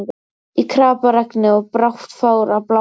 Í kraparegni, og brátt fór að blása.